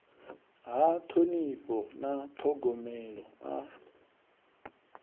ha ṱhonifho na ṱhogomelo a